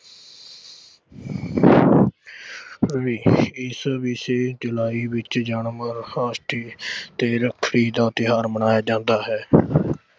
ਇਸ July ਵਿੱਚ ਜਨਮ ਅਸ਼ਟਮੀ ਤੇ ਰੱਖੜੀ ਦਾ ਤਿਓਹਾਰ ਮਨਾਇਆ ਜਾਂਦਾ ਹੈ।